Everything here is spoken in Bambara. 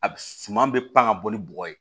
A suman bɛ pan ka bɔ ni bɔgɔ ye